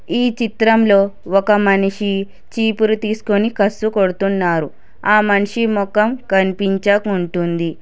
ఈ చిత్రంలో ఒక మనిషి చీపురు తీసుకొని కసు కొడుతున్నారు ఆ మనిషి మొఖం కనిపించకుంటుంది.